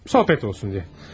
Söhbət olsun deyə.